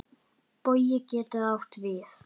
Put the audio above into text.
Bogi getur átt við